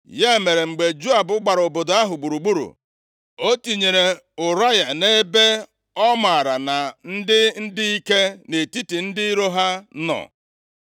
Ya mere, mgbe Joab gbara obodo ahụ gburugburu, o tinyere Ụraya nʼebe ọ maara na ndị dị ike nʼetiti ndị iro ha nọ.